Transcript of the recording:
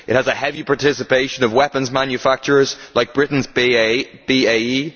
it has a heavy participation of weapons manufacturers like Britain's BAE